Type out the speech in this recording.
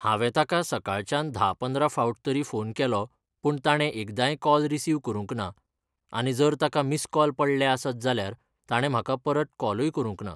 हांवें ताका सकाळच्यान धा पंदरां फावट तरी फोन केलो पूण ताणें एकदांय कॉल रिसिव करूंक ना आनी जर ताका मिस कॉल पडले आसत जाल्यार ताणें म्हाका परत कॉलूय करूंक ना.